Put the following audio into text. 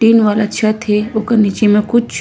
tin वाला छत हे ओकर नीचे म कुछ--